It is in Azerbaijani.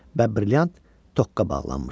Və brilliant toka bağlanmışdı.